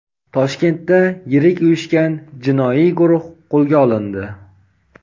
Toshkentda yirik uyushgan jinoiy guruh qo‘lga olindi.